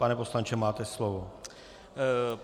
Pane poslanče, máte slovo.